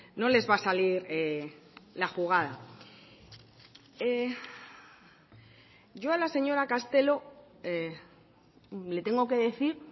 no les va a salir la jugada yo a la señora castelo le tengo que decir